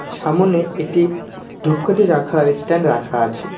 সামোনে একটি ধুপকাঠি রাখার এস্ট্যান্ড রাখা আছে।